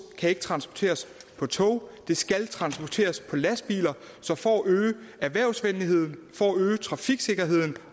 kan ikke transporteres på tog det skal transporteres på lastbiler så for at øge erhvervsvenligheden for at øge trafiksikkerheden